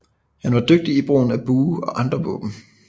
Han var dygtig i brugen af bue og andre våben